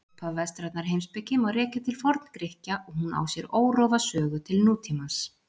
Upphaf vestrænnar heimspeki má rekja til Forngrikkja og hún á sér órofa sögu til nútímans.